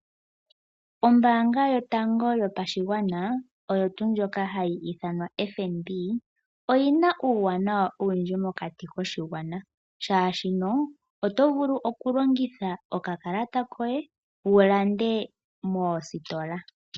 Ombanga yotango yopashigwana oyo tuu ndjoka hayi ithanwa FNB oyi na uuwanawa owundji mokati koshigwana shaashi oto vulu okulongitha okakalata koye wu lande moositola.